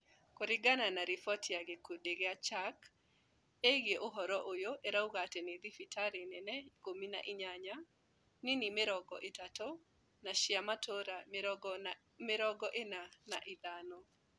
Kũringana na riboti ya gĩkundi gĩa CHAK ĩĩgiĩ ũhoro ũyũ ĩrauga nĩ thibitarĩ nene ikũmi na inyanya , nini mĩrongo ĩtatũ na cia matũra mĩrongo ĩna na ithano